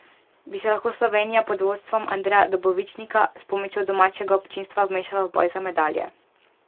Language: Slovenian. Bi se lahko Slovenija pod vodstvom Andreja Dobovičnika s pomočjo domačega občinstva vmešala v boj za medalje?